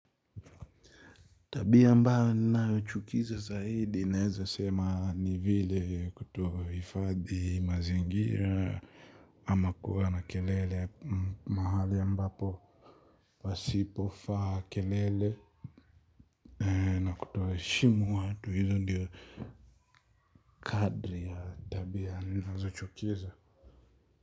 Tabia ambayo ninayochukiza zaidi ninaeza sema ni vile kuto hiifadhi mazingira. Ama kuwa na kelele mahali ambapo pasipofaa kelele kuto heshimu watu hizo ndio kadri ya tabia ninazochukiza.